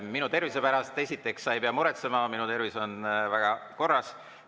Minu tervise pärast, esiteks, sa ei pea muretsema, minu tervis on korras.